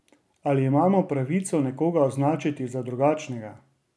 Ali imamo pravico nekoga označiti za drugačnega?